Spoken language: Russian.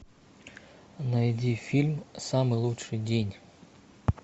найди фильм самый лучший день